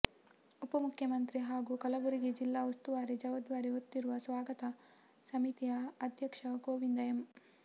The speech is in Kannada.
ಉಪಮುಖ್ಯಮಂತ್ರಿ ಹಾಗೂ ಕಲಬುರಗಿ ಜಿಲ್ಲಾ ಉಸ್ತುವಾರಿ ಜವಾಬ್ದಾರಿ ಹೊತ್ತಿರುವ ಸ್ವಾಗತ ಸಮಿತಿಯ ಅಧ್ಯಕ್ಷ ಗೋವಿಂದ ಎಂ